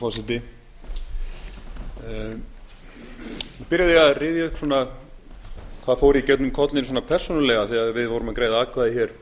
vil byrja á því að rifja upp hvað fór í gegnum kollinn svona persónulega þegar greidd voru atkvæði